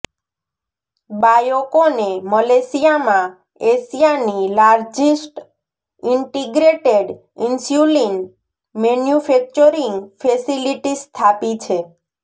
બાયોકોને મલેશિયામાં એશિયાની largest integrated insulin manufacturing facility સ્થાપી છે